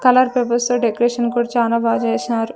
Colour papers తొ decoration కూడా చానా బాగా చేసినారు.